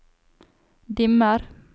dimmer